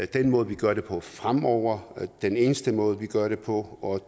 den måde vi gør det på fremover den eneste måde vi gør det på og